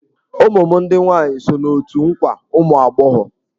Ụmụ m ndị nwaanyị so n'otù nkwa ụmụ agbọghọ.